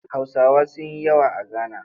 Hausawa sun yi yawa a Gana